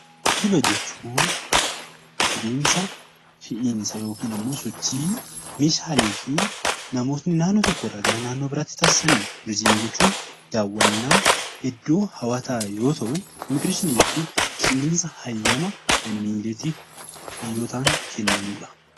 Geejiba jechuun adeemsa fe'iisa yookaan sochii Meeshaalee fi namoota gara tokkoo gara biraatti taasisan, turizimii jechuun iddoo hawwataa yoo ta'uu, immigireeshinii jechuun kenniinsa hayyamaa biyyootaan kennamudha.